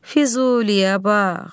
Füzuliyə bax!